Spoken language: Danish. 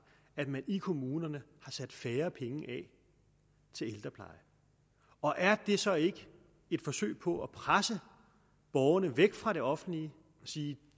at man i kommunerne har sat færre penge af til ældrepleje og er det så ikke et forsøg på at presse borgerne væk fra det offentlige og sige